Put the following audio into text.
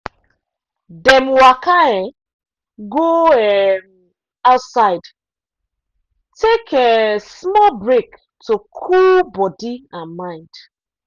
dem waka um go um outside take um small break to cool body and mind.